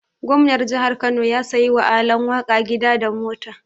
Gomnar jihar Kano ya siya wa Alan waka gida da mota.